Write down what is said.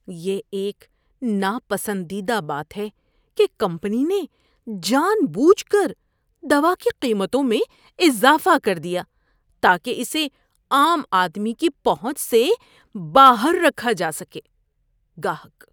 یہ ایک ناپسندیدہ بات ہے کہ کمپنی نے جان بوجھ کر دوا کی قیمتوں میں اضافہ کر دیا تاکہ اسے عام آدمی کی پہنچ سے باہر رکھا جا سکے۔ (گاہک)